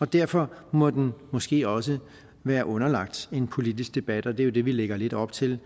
derfor må den måske også være underlagt en politisk debat og det er jo det vi lægger lidt op til